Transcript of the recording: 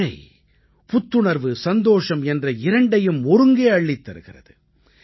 மழை புத்துணர்வு சந்தோஷம் என்ற இரண்டையும் ஒருங்கே அள்ளித் தருகிறது